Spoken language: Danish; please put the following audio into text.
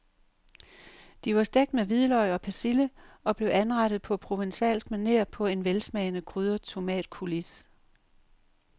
De var stegt med hvidløg og persille og blev anrettet på provencalsk maner på en velsmagende krydret tomatcoulis.